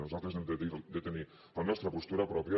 nosaltres hem de tenir la nostra postura pròpia